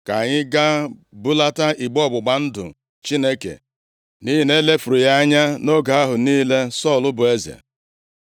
Ka anyị gaa bulata igbe ọgbụgba ndụ Chineke nʼihi na e lefuru ya anya nʼoge ahụ niile Sọl bụ eze.”